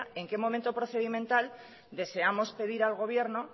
en qué momento procedimental deseamos pedir al gobierno